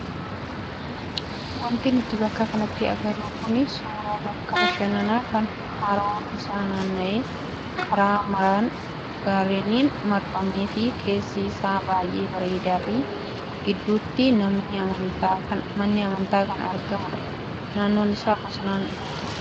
Wanti nuti bakka kanatti agarru kun suuraa bakka bashannanaa kan haroon isaa naanna'ee karaa maraan gaarreniin marfamee fi keessi isaa baay'ee bareedaa fi gidduutti manni amantaa kan argamudha. Naannoon isaas bosonaan guutuudha.